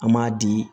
An m'a di